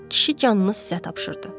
Kişi canını sizə tapşırdı.